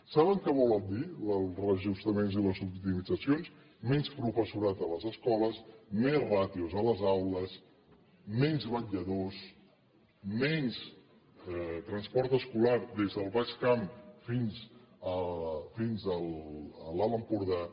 saben què volen dir els reajustaments i les optimitzacions menys professorat a les escoles més ràtios a les aules menys vetlladors menys transport escolar des del baix camp fins a l’alt empordà